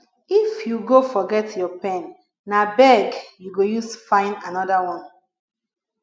if you go forget your pen na beg you go use fyn another one